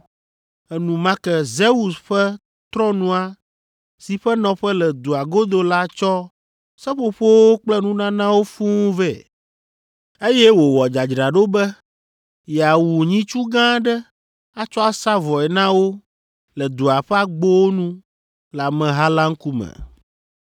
Enumake Zeus ƒe trɔ̃nua si ƒe nɔƒe le dua godo la tsɔ seƒoƒowo kple nunanawo fũu vɛ, eye wòwɔ dzadzraɖo be yeawu nyitsu gã aɖe atsɔ asa vɔe na wo le dua ƒe agbowo nu le ameha la ŋkume.